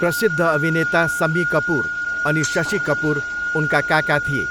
प्रसिद्ध अभिनेता सम्मी कपुर अनि शशि कपुर उनका काका थिए।